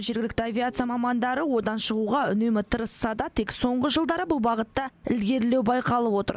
жергілікті авиация мамандары одан шығуға үнемі тырысса да тек соңғы жылдары бұл бағытта ілгерілеу байқалып отыр